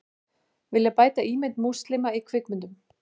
Vilja bæta ímynd múslima í kvikmyndum